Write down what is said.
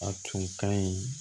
A tun ka ɲi